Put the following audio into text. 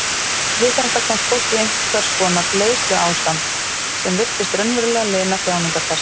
Við þetta komst fólk í einhvers konar leiðsluástand sem virtist raunverulega lina þjáningar þess.